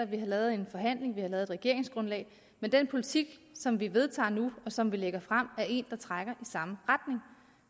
vi har lavet en forhandling vi har lavet et regeringsgrundlag men den politik som vi vedtager nu og som vi lægger frem er en der trækker i samme retning